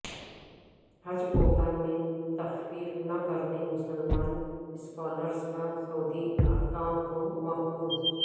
حج کوٹہ میں تخفیف نہ کرنے مسلم اسکالرس کا سعودی حکام کو مکتوب